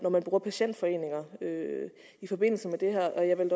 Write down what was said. bruger patientforeninger i forbindelse med det her jeg vil